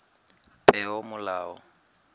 peomolao